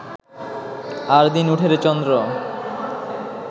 আরদিন উঠেরে চন্দ্র